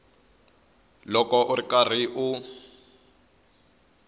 loko u ri karhi u